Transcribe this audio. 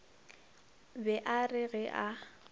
be a re ge a